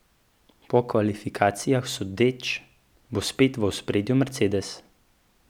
Po kvalifikacijah sodeč, bo spet v ospredju Mercedes.